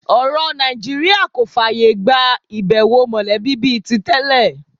Ọ̀rọ̀ Nàìjíríà kò fààyà gba ìbẹ̀wò mọ̀lẹ́bí bí i tí tẹ́lẹ̀